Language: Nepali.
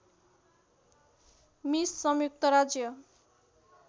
मिस संयुक्त राज्य